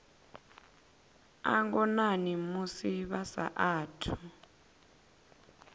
a ngonani musi vha saathu